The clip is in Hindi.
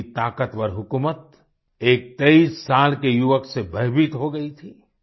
इतनी ताकतवर हुकूमत एक 23 साल के युवक से भयभीत हो गयी थी